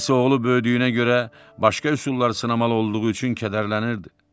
İndi isə oğlu böyüdüyünə görə başqa üsullar sınamalı olduğu üçün kədərlənirdi.